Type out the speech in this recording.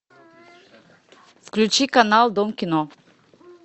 включи канал дом кино